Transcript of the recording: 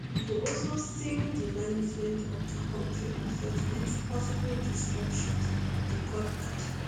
e go also sink di management of di country affairs into possible disruptions di court add